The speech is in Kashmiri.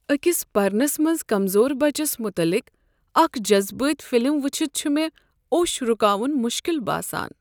أكِس پرنس منٛز كمزور بچس متعلق اکھ جذبٲتی فلم وٕچھتھ چھُ مےٚ اوٚش رُکاون مشکل باسان۔